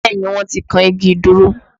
Bẹ́ẹ̀ni, wọ́n ti kan igi ìdúró